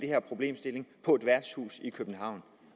her problemstilling på et værtshus i københavn